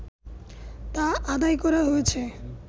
তা আদায় করা হয়েছে